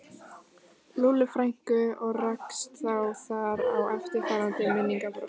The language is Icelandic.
Lúllu frænku og rakst þá þar á eftirfarandi minningabrot